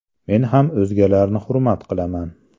Men ham o‘zgalarni hurmat qilaman.